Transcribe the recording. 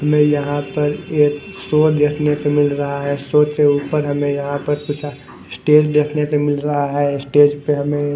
हमें यहाँ पर यह फ़ोन रखने को मिल रहा हैं ऊपर हमें यहाँ पर स्टेज देखने को मिल रहा हैं स्टेज पे हमें--